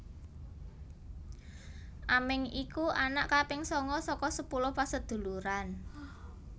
Aming iku anak kaping sanga saka sepuluh paseduluran